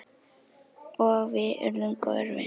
Og við urðum góðir vinir.